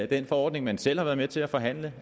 den forordning man selv har været med til at forhandle